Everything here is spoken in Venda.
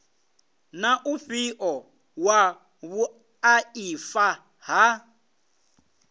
na ufhio wa vhuaifa ha